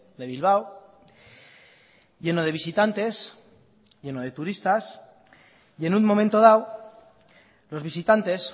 de bilbao lleno de visitantes llenos de turistas y en un momento dado los visitantes